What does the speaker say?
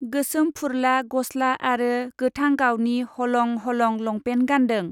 गोसोम फुरला गस्ला आरो गोथां गावनि हलं हलं लंपेन गान्दों।